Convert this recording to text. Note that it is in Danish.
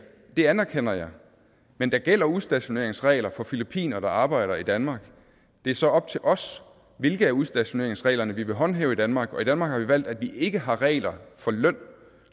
og det anerkender jeg men der gælder udstationeringsregler for filippinere der arbejder i danmark det er så op til os hvilke af udstationeringsreglerne vi vil håndhæve i danmark og i danmark har vi valgt at vi ikke har regler for løn